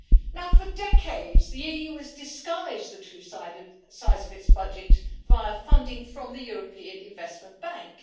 Now for decades the EU has disguised the true size of its budget via funding from the European Investment Bank.